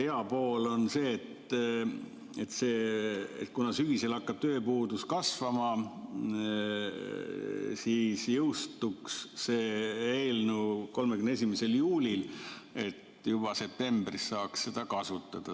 Hea pool, kui sügisel hakkab tööpuudus kasvama, on see, et see eelnõu jõustuks 31. juulil ja juba septembris saaks seda kasutada.